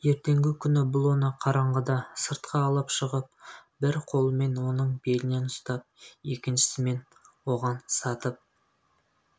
ертеңгі күні бұл оны қараңғыда сыртқа алып шығып бір қолымен оның белінен ұстап екіншісімен оған сатып